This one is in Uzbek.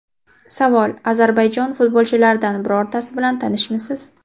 Savol: Ozarbayjon futbolchilaridan birortasi bilan tanishmisiz?